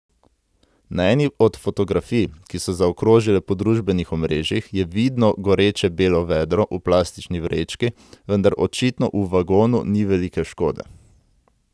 Na eni od fotografij, ki so zaokrožile po družbenih omrežjih, je vidno goreče belo vedro v plastični vrečki, vendar očitno v vagonu ni velike škode.